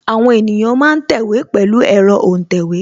Àwọn ènìyàn ma ń tẹ̀wé pẹ̀lu ẹ̀rọ́ òǹtẹ̀wé